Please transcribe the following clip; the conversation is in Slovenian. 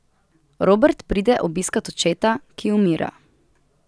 Robert pride obiskat očeta, ki umira.